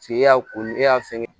e y'a ko e y'a fɛngɛ